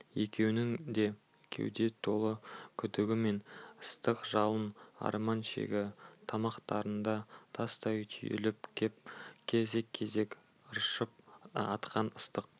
екеуінің де кеуде толы күдігі мен ыстық жалын арман шері тамақтарына тастай түйіліп кеп кезек-кезек ыршып атқан ыстық